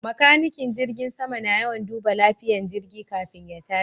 Makanikin jirgin sama na yawan duba lafiyan jirgi kafin ya tashi